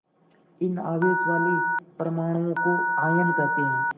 इन आवेश वाले परमाणुओं को आयन कहते हैं